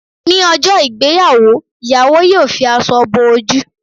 Ní ọjọ́ ìgbéyàwó, ìyàwó yọ fi aṣọ bo ojú